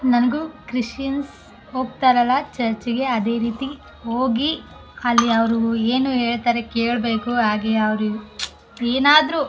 ನಂಗು ಕ್ರಿಸ್ಟಿಯಾನ್ಸ್ ಹೋಗ್ತಾರಲ್ಲ ಚರ್ಚಿಗೆ ಅದೇ ರೀತಿ ಹೋಗಿ ಅಲ್ಲಿ ಅವ್ರು ಏನು ಹೇಳ್ತಾರೆ ಕೇಳ್ಬೇಕು ಹಾಗೆ ಅವ್ರಿಗ್ ಏನಾದ್ರು --